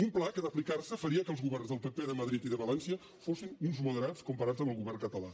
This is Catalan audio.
un pla que si s’apliqués faria que els governs del pp de madrid i de valència fossin uns moderats comparats amb el govern català